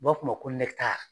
U b'a fɔ a ma ko